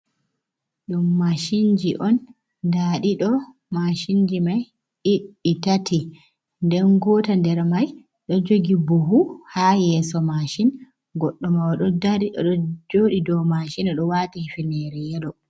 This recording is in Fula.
Ɗum mashinji on, nda ɗi ɗo mashinji mai ɗi tati, nden ngota nder mai ɗo jogi bohu ha yeso mashin. Goɗɗo mai o ɗo dari, o ɗo joɗi dou mashin o ɗo wati hufnenere yelo.